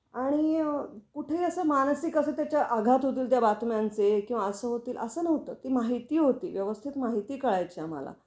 आणि अ कुठेही असं मानसिक असे त्याच्या आघात होतील त्या बातम्यांचे किंवा असं होतील अस नव्हतं. ती माहिती होती व्यवस्थित माहिती कळायची आम्हाला